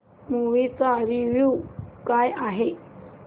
movie चा review काय आहे